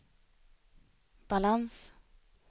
balans